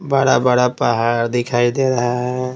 बड़ा-बड़ा पहाड़ दिखाई दे रहा है।